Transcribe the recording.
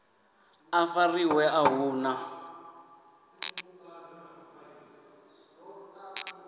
a fariwe a hu na